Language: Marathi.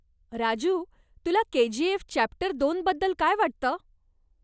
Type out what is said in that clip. राजू तुला केजीएफ चॅप्टर दोन बद्दल काय वाटतं?